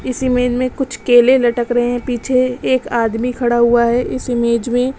इस इमेज में कुछ केले लटक रहे हैं पीछे एक आदमी खड़ा हुआ है इस इमेज में--